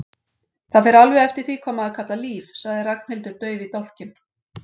Það fer alveg eftir því hvað maður kallar líf sagði Ragnhildur dauf í dálkinn.